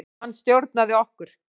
Hann stjórnaði okkur.